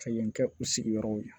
Yen kɛ u sigiyɔrɔ ye